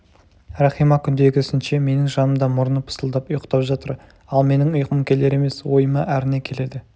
рахима күндегісінше менің жанымда мұрны пысылдап ұйықтап жатыр ал менің ұйқым келер емес ойыма әрне келеді